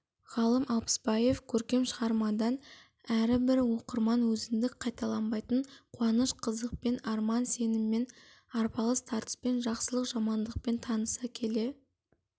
ғалым алпысбаев көркем шығармадан әрібір оқырман өзіндік қайталанбайтын қуаныш-қызықпен арман-сеніммен арпалыс тартыспен жақсылық-жамандықпен таныса келе